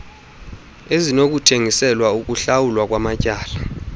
ezinokuthengiselwa ukuhlawulwa kwamatyala